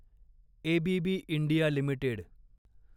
ABB India limited